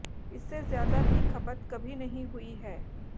इससे ज्यादा की खपत कभी नहीं हुई है